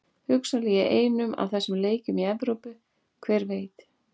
Hugsanlega í einum af þessum leikjum í Evrópu, hver veit?